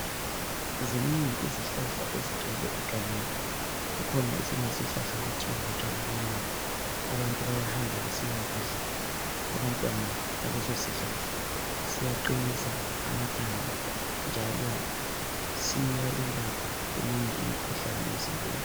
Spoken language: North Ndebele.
Zinengi izihlahla ezigcwele egangeni. Kukhona esinye esihlahla okuthiwa butshwala benyoni. Abantu bayahamba besiyakudla abantwana baleso sihlahla. Siyaqinisa amathambo, njalo siyelapha eminye imikhuhlane emzimbeni.